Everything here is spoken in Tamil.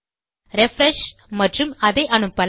ரிஃப்ரெஷ் மற்றும் அதை அனுப்பலாம்